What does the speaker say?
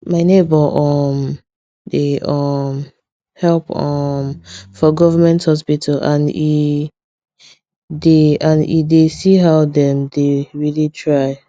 my neighbor um dey um help um for government hospital and e dey and e dey see how dem dey really try